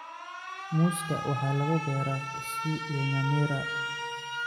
Muuska waxaa lagu beeraa Kisii iyo Nyamira.